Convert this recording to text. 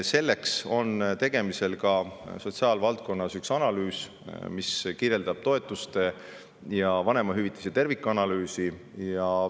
Sellepärast on sotsiaalvaldkonnas tegemisel toetuste ja vanemahüvitise tervikanalüüs.